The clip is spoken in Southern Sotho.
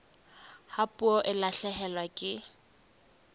ha puo e lahlehelwa ke